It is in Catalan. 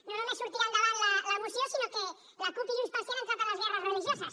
no només sortirà endavant la moció sinó que la cup i junts pel sí han entrat en les guerres religioses